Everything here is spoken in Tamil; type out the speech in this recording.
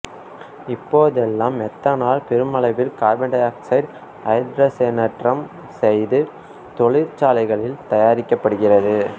இப்போதெல்லாம் மெத்தனால் பெருமளவில் கார்பனோராக்சைடை ஐதரசனேற்றம் செய்து தொழிற்சாலைகளில் தயாரிக்கப்படுகிறது